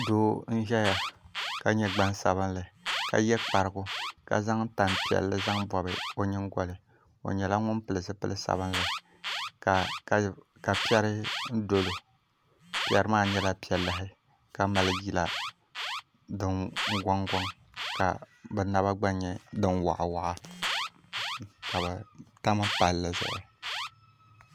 Doo n ʒɛya ka nyɛ gbasbinli ka yɛ kparigu ka zaŋ tani piɛlli n bobi o nyingoli o nyɛla ŋun pili zipili sabinli ka piɛri piɛri maa nyɛla piɛ lahi ka mali yila din gongon ka bi naba gba nyɛ din waɣi ka bi tam palli